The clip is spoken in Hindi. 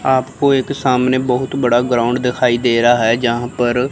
आपको एक सामने बहुत बड़ा ग्राउंड दिखाई दे रहा है जहां पर--